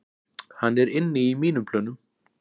Hann er inni í mínum plönum